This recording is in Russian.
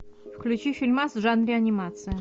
включи фильмас в жанре анимация